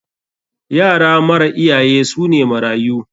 Yara mara iyaye su ne marayu.